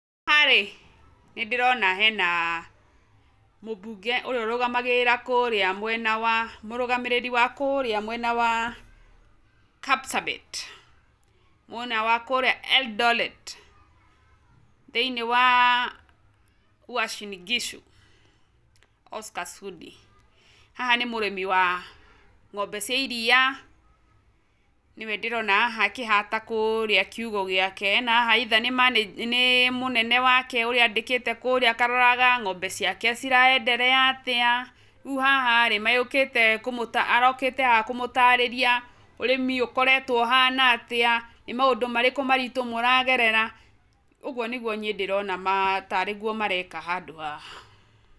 Haha rĩ, nĩ ndĩrona hena mũmbunge ũrĩa ũrũgamagĩrĩra kũrĩa mwena wa, mũrũgamĩrĩri wa kũrĩa mwena wa Kapsabet, mwena kũrĩa Eldoret, thĩiniĩ wa Uasin Gishu, Oscar Sudi. Haha nĩ mũrĩmi wa ng'ombe cia iria, nĩwe ndĩrona haha akĩhata kũrĩa kiũgũ gĩake na haha either nĩ mũnene wake ũrĩa andĩkĩte kũrĩa akaroraga ng'ombe ciake cira endelea atĩa, rĩu haha rĩ arokĩte haha kũmũtarĩria ũrĩmi ũkoretwo uhana atĩa, nĩ maũndũ marĩkũ maritũ mũragerera, ũguo nĩguo niĩ ndĩrona tarĩ guo mareka handũ haha.